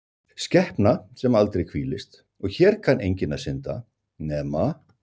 skepna sem aldrei hvílist og hér kann enginn að synda, nema